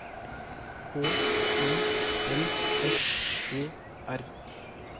H I L S E R